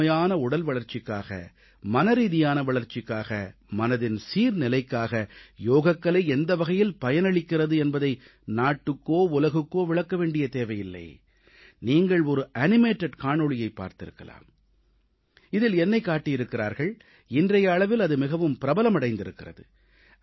முழுமையான உடல் வளர்ச்சிக்காக மனரீதியான வளர்ச்சிக்காக மனதின் சீர்நிலைக்காக யோகக்கலை எந்த வகையில் பயனளிக்கிறது என்பதை நாட்டுக்கோ உலகுக்கோ விளக்க வேண்டிய தேவையில்லை நீங்கள் ஒரு அசைவூட்டப்பட்ட காணொளியைப் பார்த்திருக்கலாம் இதில் என்னைக் காட்டியிருக்கிறார்கள் இன்றைய அளவில் அது மிகவும் பிரபலமடைந்திருக்கிறது